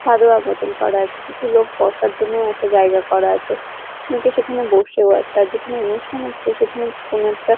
চাঁদোয়া মতন করা আছে কিছু লোক বসার জন্যও একটা জায়গা করা আছে অনেকে সেখানে বসেও আছে আর যেখানে অনুষ্ঠান হচ্ছে সেখানে কি কোনো একটা--